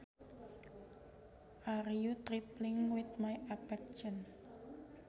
Are you trifling with my affections